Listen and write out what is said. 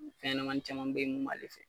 Fɛn ɲɛnɛmanin caman be yen mun b'ale